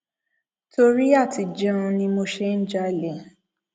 torí àti jẹun ni mo ṣe ń jalè